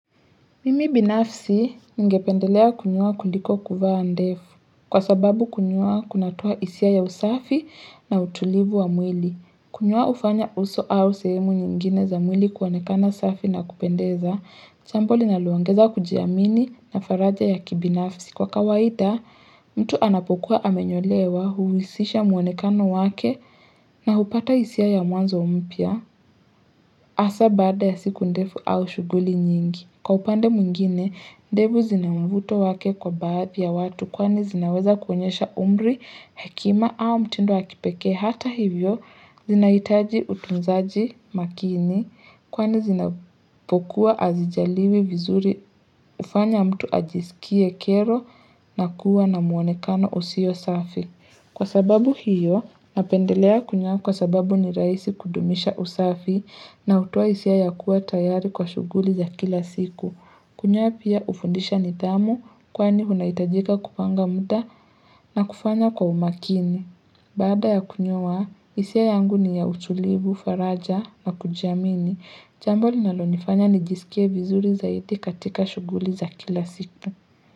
Mimi binafsi ngependelea kunyoa kuliko kuvaa ndefu kwa sababu kunyua kunatoa hisia ya usafi na utulivu wa mwili. Kunyoa hufanya uso au sehemu nyingine za mwili kuonekana safi na kupendeza, chambo linaloongeza kujiamini na faraja ya kibinafsi. Kwa kawaita, mtu anapokuwa amenyolewa huwisisha muonekano wake na hupata hisia ya mwanzo mpya, hasa baada ya siku ndefu au shughuli nyingi. Kwa upande mwingine, ndevu zina mvuto wake kwa baadhi ya watu kwani zinaweza kuonyesha umri, hekima au mtindo wa kipekee hata hivyo, zinahitaji utunzaji makini kwani zinapokuwa hazijaliwi vizuri hufanya mtu ajisikie kero na kuwa na muonekano usio safi. Kwa sababu hiyo, napendelea kunyoa kwa sababu ni rahisi kudumisha usafi na hutoa hisia ya kuwa tayari kwa shughuli za kila siku. Kunyoa pia ufundisha nithamu kwani unahitajika kupanga muda na kufanya kwa umakini. Baada ya kunyoa, hisia yangu ni ya utulivu, faraja na kujamini. Jambo linalonifanya ni jisikie vizuri zaidi katika shughuli za kila siku.